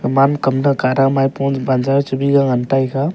man kamda Kara maipung wanjau chibi jau ngan taiga ga.